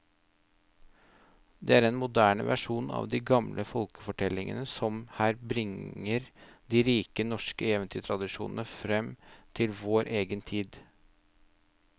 Det er en moderne versjon av de gamle folkefortellingene som her bringer de rike norske eventyrtradisjoner fram til vår egen tid.